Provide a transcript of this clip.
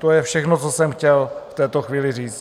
To je všechno, co jsem chtěl v této chvíli říct.